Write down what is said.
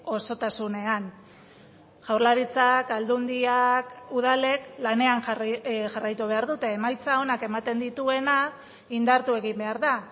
osotasunean jaurlaritzak aldundiak udalek lanean jarraitu behar dute emaitza onak ematen dituena indartu egin behar da